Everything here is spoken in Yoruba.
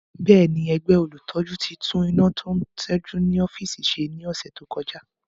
Bẹ́ẹ̀ni, ẹgbẹ́ olùtọ́jú ti tún iná tó ń ṣẹ́jú ní ọ́fíìsì ṣe ní ọ̀sẹ̀ tó kọjá